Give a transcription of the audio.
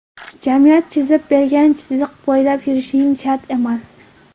Jamiyat chizib bergan chiziq bo‘ylab yurishing shart emas.